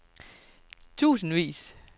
tusindvis